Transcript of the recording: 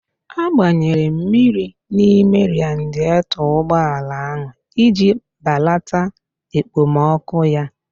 A gbanyere mmiri n'ime radietọ ụgbọala ahụ iji balata ekpomọkụ ya